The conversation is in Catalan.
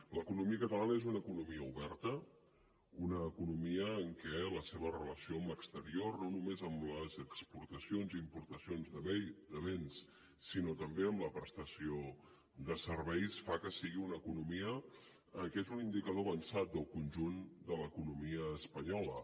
l’economia catalana és una economia oberta una economia en què la seva relació amb l’exterior no només amb les exportacions i importacions de béns sinó també amb la prestació de serveis fa que sigui una economia que és un indicador avançat del conjunt de l’economia espanyola